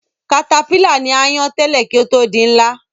Katapílà ní áyán tẹ́lẹ̀ kí ó tó di ńlá